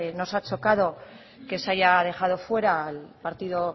nos ha chocado que se haya dejado fuera al partido